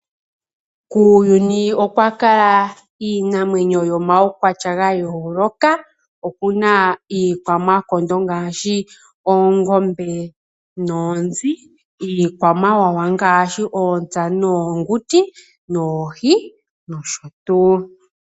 Kuuyuni okwakala iinamwenyo yomaukwatya gayooloka. Okuna iikwamakondo ngaashi oongombe noonzi, iikwamawawa ngaashi oontsa noonguti nosho tuu.